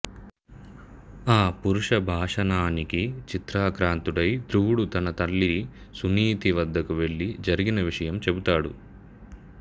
ఆ పరుష భాషణానికి చింతాక్రాంతుడై ధ్రువుడు తన తల్లి సునీతి వద్దకు వెళ్ళి జరిగిన విషయం చెబుతాడు